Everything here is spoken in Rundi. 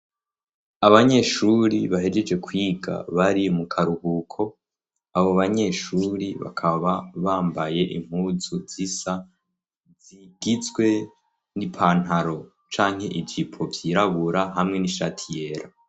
Abanyeshuri bahegeje kwiga bari mu karuhuko, abo banyeshuri bakaba bambaye impuzu zisa zigitswe n'ipantaro canke igipo vyirabura hamwe n'ishati yera.